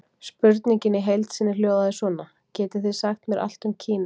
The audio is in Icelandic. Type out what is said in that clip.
Spurningin í heild sinni hljóðaði svona: Getið þið sagt mér allt um Kína?